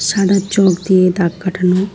সাদা চক দিয়ে দাগ কাটানো।